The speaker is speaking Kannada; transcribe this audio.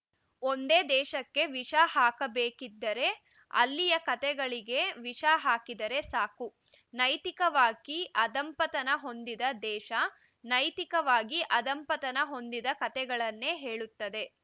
ಒಂದೇ ದೇಶಕ್ಕೆ ವಿಷ ಹಾಕಬೇಕಿದ್ದರೆ ಅಲ್ಲಿಯ ಕತೆಗಳಿಗೆ ವಿಷ ಹಾಕಿದರೆ ಸಾಕು ನೈತಿಕವಾಗಿ ಅಧಃಪತನ ಹೊಂದಿದ ದೇಶ ನೈತಿಕವಾಗಿ ಅಧಃಪತನ ಹೊಂದಿದ ಕತೆಗಳನ್ನೇ ಹೇಳುತ್ತದೆ